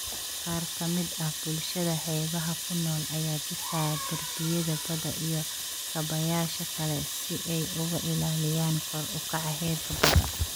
Qaar ka mid ah bulshada xeebaha ku nool ayaa dhisaya darbiyada badda iyo kaabayaasha kale si ay uga ilaaliyaan kor u kaca heerka badda.